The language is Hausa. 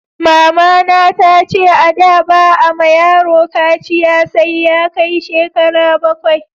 Mama na ta ce a da ba a ma yaro kaciya sai Ya kai shekara bakwai